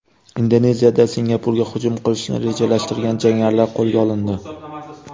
Indoneziyada Singapurga hujum qilishni rejalashtirgan jangarilar qo‘lga olindi.